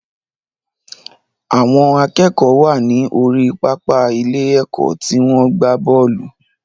Àwọn akẹ́kọ̀ọ́ wà ní orí pápá ilé ẹ̀kọ́ tí wọ́n ń gbá bọ́ọ̀lù